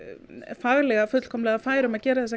faglega fullkomlega fær um að gera þessar